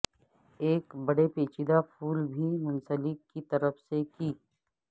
ایک بڑے پیچیدہ پھول بھی منسلک کی طرف سے کی